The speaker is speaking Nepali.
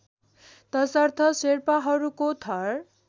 तसर्थ शेर्पाहरूको थर